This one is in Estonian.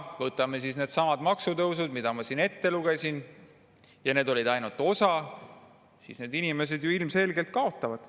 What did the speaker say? Kui me võtame needsamad maksutõusud, mis ma siin ette lugesin, ja see oli ainult osa nendest, siis need inimesed ju ilmselgelt kaotavad.